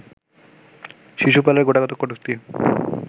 শিশুপালের গোটাকতক কটূক্তি